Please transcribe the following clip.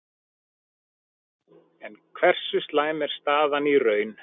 En hversu slæm er staðan í raun?